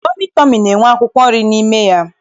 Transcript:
Tọmị tọmị na-enwe akwụkwọ nri n'ime ya.